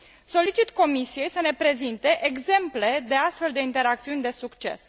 Solicit Comisiei să ne prezinte exemple de astfel de interacțiuni de succes.